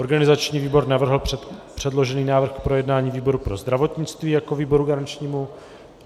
Organizační výbor navrhl předložený návrh k projednání výboru pro zdravotnictví jako výboru garančnímu.